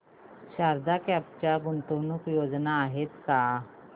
Sharda crop च्या गुंतवणूक योजना आहेत का